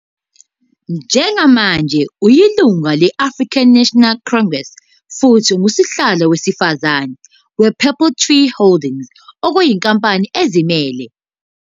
Njengamanje uyilungu le- African National Congress futhi unguSihlalo weSifazane wePurple Tree Holdings, okuyinkampani ezimele.